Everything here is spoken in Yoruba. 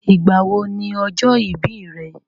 Ìgbà wo ni ọjọ́ ìbí rẹ?